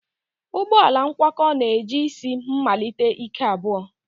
Ụgbọ ala ngwakọ na-eji isi mmalite ike abụọ